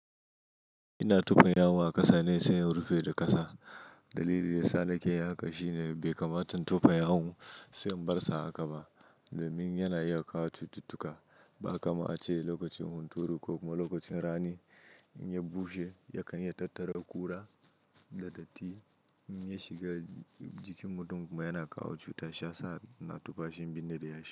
Ina tufan yawon a ƙasa ne sai rufe da ƙasa. Dalili yasa nake yi haka shine bai kamata in tufan yawon sai an bar sa haka ba domin yana iya kawo cututtuka. Kaga kam a ce lokacin hunturu ko kuma lokacin rani in ya bushe yakan yi tattara ƙura da datti in ya shiga jikin mutun kuma yana kawo chuta shiyasa nake tufa shi in birne shi.